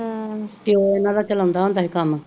ਪਿਓ ਇਹਨਾਂ ਦਾ ਚਲਾਉਂਦਾ ਹੁੰਦਾ ਹੀ ਕੰਮ